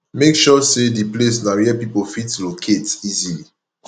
make sure sey di place na where pipo fit locate easily